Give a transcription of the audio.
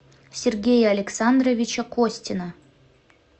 сергея александровича костина